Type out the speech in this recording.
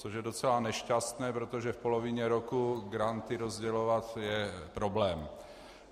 Což je docela nešťastné, protože v polovině roku granty rozdělovat je problém.